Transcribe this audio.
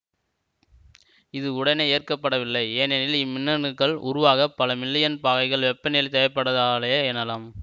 இது உடனே ஏற்கப்படவில்லை ஏனெனில் இம்மின்னணுக்கள் உருவாகப் பல மில்லியன் பாகைகள் வெப்பநிலை தேவைப்பட்டதாலேயே எனலாம்